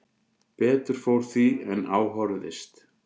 Betur fór því en á horfðist